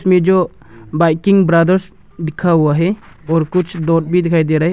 ये जो biking brothers लिखा हुआ है और कुछ बोर्ड भी दिखाई दे रहा है।